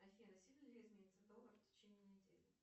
афина сильно ли изменится доллар в течение недели